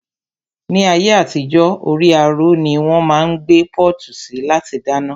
Ni ayé àtijó, orí àrò ni wón máa ń gbé pọ́ọ̀tù sí láti dáná